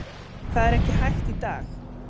Það er ekki hægt í dag.